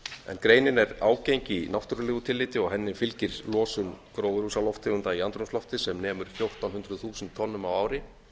en greinin er ágeng í náttúrulegu tilliti og henni fylgir losun gróðurhúsalofttegunda í andrúmslofti sem nemur fjórtán hundruð þúsund tonnum á ári